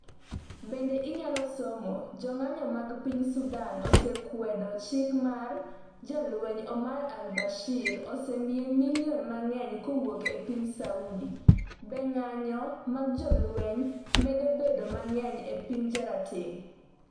Bende inyalo somo; jong'anyo mag piny Sudan okwedo chik ma jalweny Omar el Bashir ‘osemiye milion mang'eny kowuok e piny Saudi’ Be ng’anjo mag jolweny medo bedo mang'eny e piny jarateng'?